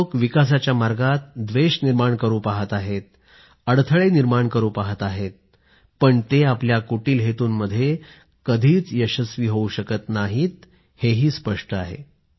लोक विकासाच्या मार्गात द्वेष निर्माण करू पाहत आहेत अडसर पैदा करू पाहत आहेत ते आपल्या कुटील हेतूंमध्ये कधीच यशस्वी होऊ शकत नाहीत हेही स्पष्ट आहे